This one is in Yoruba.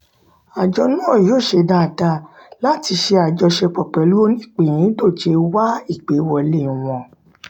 àjọ náà yóò ṣe dáadáa láti ṣe àjọṣepọ̀ pẹ̀lú oníìpíndọ̀jẹ̀ wá ìgbéwọlé wọn.